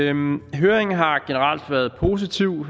høringen har generelt været positiv